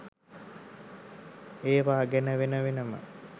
ඒවා ගැන වෙන වෙනම